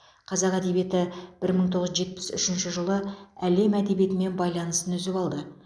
қазақ әдебиеті бір мың тоғыз жүз жетпіс үшінші жылы әлем әдебиетімен байланысын үзіп алды